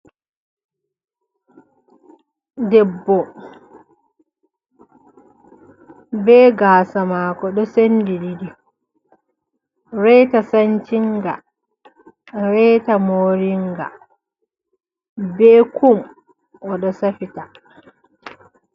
Debbo, be gasa mako ɗo sendi ɗiɗi, reta san cinga, reta moringa be kum oɗo safita.